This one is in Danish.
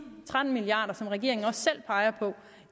tretten milliard kr som regeringen også selv peger på